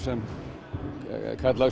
kallaður